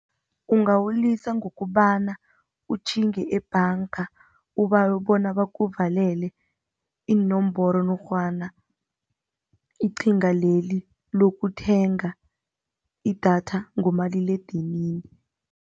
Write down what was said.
Ungawulisa ngokobana utjhinge ebhanga, ubawe bona bakuvalele iinomboro norhwana iqhinga leli lokuthenga idatha ngomaliledinini.